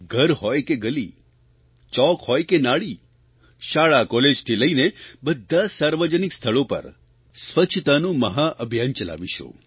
ઘર હોય કે ગલી ચોક હોય કે નાળી શાળા કોલેજથી લઇને બધાં સાર્વજનિક સ્થળો પર સ્વચ્છતાનું મહાઅભિયાન ચલાવીશું